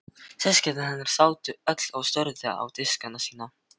Systkini hennar sátu öll og störðu á diskana sína.